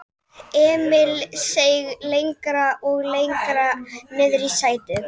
Hún hafði aldrei heyrt hann tala á þennan hátt.